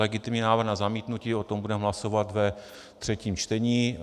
Legitimní návrh na zamítnutí - o tom budeme hlasovat ve třetím čtení.